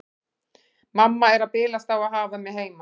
Mamma er að bilast á að hafa mig heima.